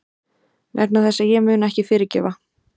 Vegna þess að ég mun ekki fyrirgefa.